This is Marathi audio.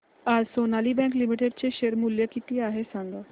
आज सोनाली बँक लिमिटेड चे शेअर मूल्य किती आहे सांगा